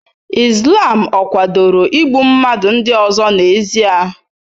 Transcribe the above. Islam ọ̀ kwadoro igbu mmadụ ndị ọzọ n'ezie?